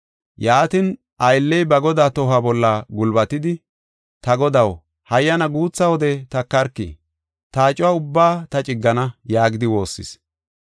Yaatin aylley ba godaa tohuwa bolla gulbatidi, ‘Ta godaw, hayyana guutha wode takarki, ta acuwa ubbaa ta ciggana’ yaagidi woossis.